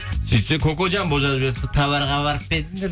сөйтсе кокоджамбо жазып жіберіпті товарға барып па едіңдер